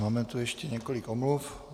Máme tu ještě několik omluv.